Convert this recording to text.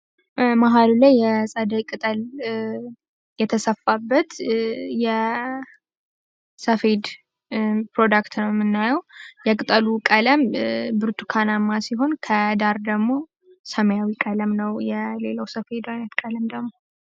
መሀል ላይ የፀደይ ቅጠል የተሰፋበት ሰፌድ ብሮዴክት ነው የምናየው የቅጠሉ ቀለም ብርቱካናማ ሲሆን ከዳር ደግሞ ሰማያዊ ቀለም ነው የሌላኛው ሰፌድ ቀለም ደግሞ።